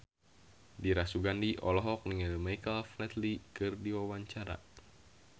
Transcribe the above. Dira Sugandi olohok ningali Michael Flatley keur diwawancara